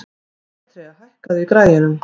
Petrea, hækkaðu í græjunum.